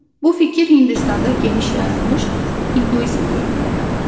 Bu fikir Hindistanda geniş yayılmış induizm dinində də var.